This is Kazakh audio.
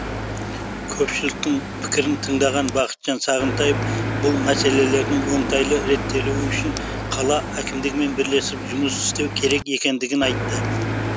көпшіліктің пікірін тыңдаған бақытжан сағынтаев бұл мәселелердің оңтайлы реттелуі үшін қала әкімдігімен бірлесіп жұмыс істеу керек екендігін айтты